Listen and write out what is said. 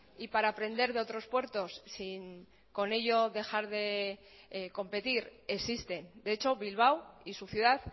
y para aprender de otros puertos sin con ello dejar de competir existe de hecho bilbao y su ciudad